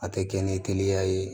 A tɛ kɛ ni teliya ye